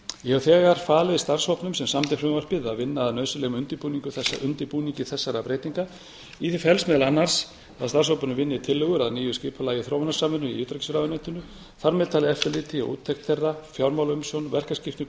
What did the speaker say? ég hef þegar falið starfshópnum sem samdi frumvarpið að vinna að nauðsynlegum undirbúningi þessara breytinga í því felst meðal annars að starfshópurinn vinni tillögur að nýju skipulagi þróunarsamvinnu í utanríkisráðuneytinu þar með talið eftirliti og úttekt fjármálaumsjón